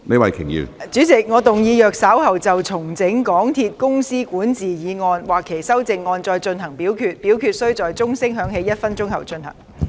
主席，我動議若稍後就"重整港鐵公司管治"所提出的議案或修正案再進行點名表決，表決須在鐘聲響起1分鐘後進行。